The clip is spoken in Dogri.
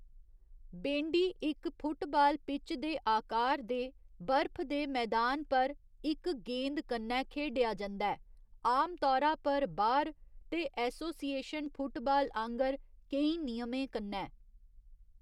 बेंडी इक फुटबाल पिच दे आकार दे बर्फ दे मैदान पर इक गेंद कन्नै खेढेआ जंदा ऐ, आमतौरा पर बाह्‌‌र, ते एसोसिएशन फुटबाल आंह्ग‌र केईं नियमें कन्नै।